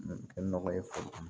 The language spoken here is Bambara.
Kɛ nɔgɔ ye foro kɔnɔ